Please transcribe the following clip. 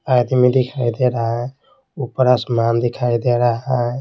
आदमी दिखाई दे रहा है ऊपर आसमान दिखाई दे रहा है।